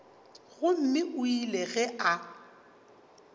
gomme o ile ge a